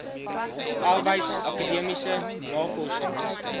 arbeids akademiese navorsings